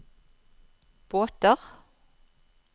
båter